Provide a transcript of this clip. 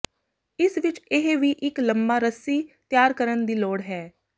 ਇਸ ਵਿਚ ਇਹ ਵੀ ਇੱਕ ਲੰਮਾ ਰੱਸੀ ਤਿਆਰ ਕਰਨ ਦੀ ਲੋੜ ਹੈ